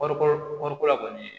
Wari ko wariko la kɔni